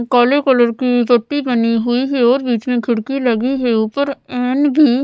काले कलर की पट्टी बनी हुई है और बीच में खिड़की लगी है ऊपर फैन भी--